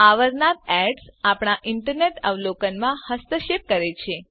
અવારનવાર એડીએસ જાહેરાતો આપણા ઇન્ટરનેટ અવલોકનમાં હસ્તક્ષેપ કરે છે